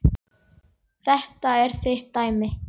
Þetta er þitt dæmi.